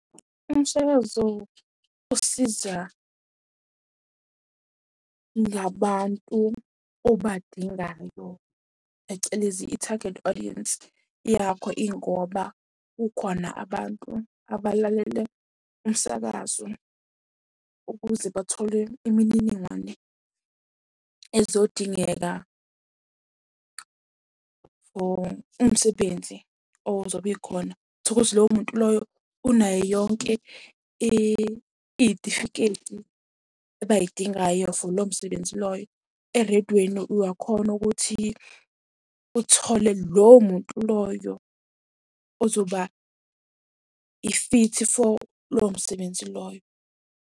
Umsakazo usiza ngabantu obadingayo phecelezi i-target audience yakho, ingoba kukhona abantu abalalele umsakazo ukuze bathole imininingwane ezodingeka for umsebenzi ozobe ikhona. Uthole ukuthi loyo muntu loyo unayo yonke iy'tifiketi abay'dingayo for lowo msebenzi loyo. Ereydweni uyakhona ukuthi uthole lowo muntu loyo ozoba ifithi for lowo msebenzi loyo.